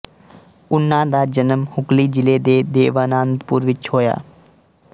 ਉਨ੍ਹਾਂ ਦਾ ਜਨਮ ਹੁਗਲੀ ਜਿਲ੍ਹੇ ਦੇ ਦੇਵਾਨੰਦਪੁਰ ਵਿੱਚ ਹੋਇਆ